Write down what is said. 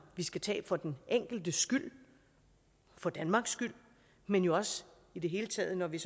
vi skal tage for den enkeltes skyld og for danmarks skyld men jo også i det hele taget når vi